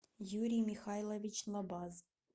юрий михайлович лобаз